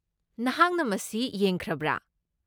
ꯅꯍꯥꯛꯅ ꯃꯁꯤ ꯌꯦꯡꯈ꯭ꯔꯕ꯭ꯔꯥ?